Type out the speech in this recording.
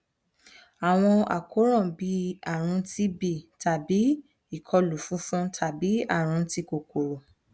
awọn àkóràn bii arun tb tabi ikolu funfun tabi arun ti kokoro